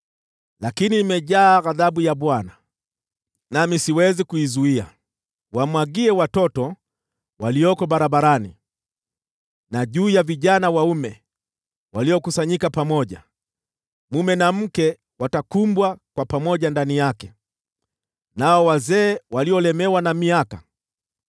Lakini nimejaa ghadhabu ya Bwana , nami siwezi kuizuia. “Wamwagie watoto walioko barabarani, na juu ya vijana waume waliokusanyika; mume na mke watakumbwa pamoja ndani yake, hata nao wazee waliolemewa na miaka.